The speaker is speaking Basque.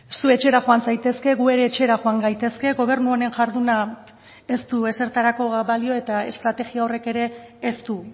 zu etxera joan zaitezke gu ere etxera joan gaitezke gobernu honen jarduna ez du ezertarako balio eta estrategia horrek ere ez du